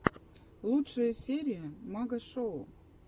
лучшая серия магашоу